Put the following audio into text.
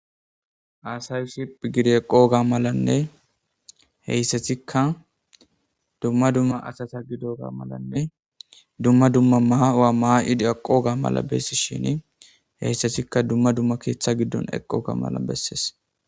aasay siph gidi eqo ga malanne heyssathikka dumma dumma asata gido ga malanne dumma dumma maa waa maa7idi aqoga mala bessi shini heyssathikka dumma dumma keeththa giddon eqqoga mala bessees